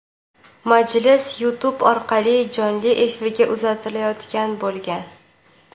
Majlis Youtube orqali jonli efirga uzatilayotgan bo‘lgan .